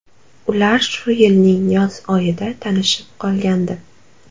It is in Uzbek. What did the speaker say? Ular shu yilning yoz oyida tanishib qolgandi.